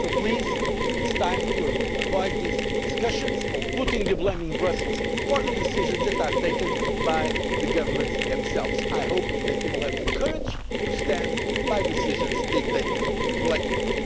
countries. So, please, it is time to avoid these discussions putting the blame on Brussels for decisions that are taken by the governments themselves. I hope they will have the courage to stand by decisions they take